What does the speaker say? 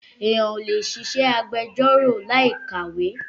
Ènìyàn kò lè ṣiṣẹ́ agbẹjọ́rò láì ka ìwé